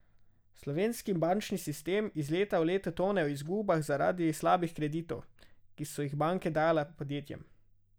Slovenski bančni sistem iz leta v leto tone v izgubah zaradi slabih kreditov, ki so jih banke dajale podjetjem.